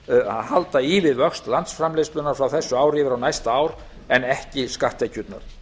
halda í við vöxt landsframleiðslunnar frá þessu ári yfir á næsta ár en ekki skatttekjurnar